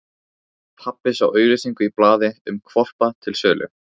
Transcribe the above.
Pabbi sá auglýsingu í blaði um hvolpa til sölu.